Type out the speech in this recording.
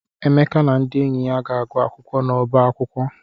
Emeka na ndị enyi ya ga-agụ akwụkwọ n'ọba akwụkwọ.